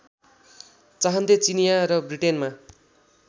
चाहन्थे चिनियाँ र ब्रिटेनमा